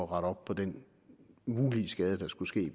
rette op på den mulige skade der skulle ske